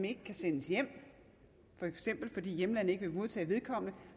ikke kan sendes hjem for eksempel fordi hjemlandet ikke vil modtage vedkommende